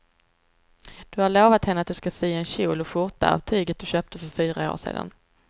Du har lovat henne att du ska sy en kjol och skjorta av tyget du köpte för fyra år sedan.